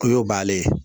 O y'o bannen ye